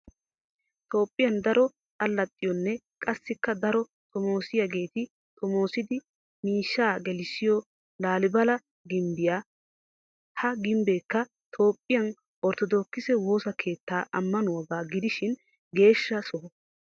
Toophphiyan daro alaxxiyonne qassikka daro xommossiyaageti xommosidi miishsha gelissiyo laalibala gimbbiya. Ha gimbbekka toophphiya orttodookise woosa keetta amanuwaaga gidishin geeshsha soho.